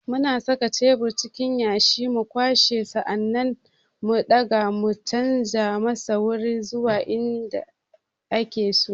Muna saka shebur cikin yashi, mu kwashe, sa'an nan mu daga da canja masa wuri zuwa in da ake so.